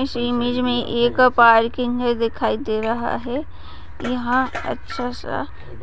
इस इमेज में एक पार्किंगे दिखाई दे रहा है यहाँ अच्छा सा